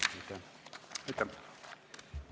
Aitäh!